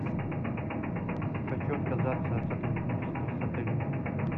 хочу отказаться от сотрудничества с отелем